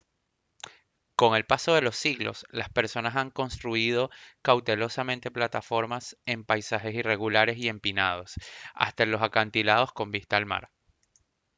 con el paso de los siglos las personas han construido cautelosamente plataformas en paisajes irregulares y empinados hasta en los acantilados con vista al mar